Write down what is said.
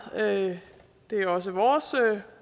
det er også vores